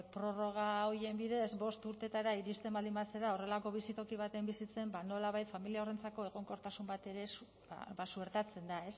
prorroga horien bidez bost urteetara iristen baldin bazara horrelako bizitoki batean bizitzen nolabait familia horrentzako egonkortasun bat ere ba suertatzen da